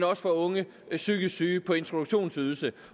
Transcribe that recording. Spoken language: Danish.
også for unge psykisk syge på introduktionsydelse